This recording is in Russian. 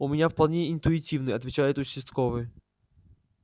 у меня вполне интуитивный отвечает участковый